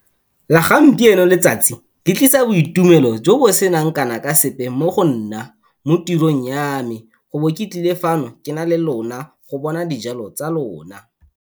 La gampieno letsatsi le tlisa boitumelo jo bo seng kana ka sepe mo go nna mo tirong ya me, go bo ke tlile fano ke na le lona go bona dijalo tsa lona.